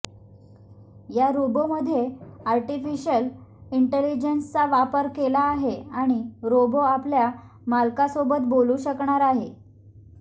या रोबोमध्ये आर्टिफिशियल इंटेलिजन्सचा वापर केला आहे आणि रोबो आपल्या मालकासोबत बोलू शकणार आहे